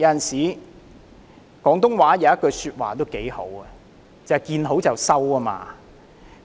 廣東話有一句說話說得挺好的，便是"見好就收"。